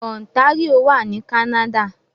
Ontario wà ní Canada